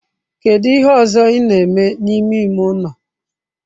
Kedu ihe ọzọ ị na-eme n'ime ime ụlọ?